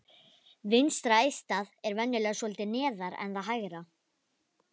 Vinstra eistað er venjulega svolítið neðar en það hægra.